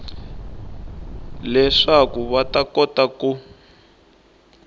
leswaku va ta kota ku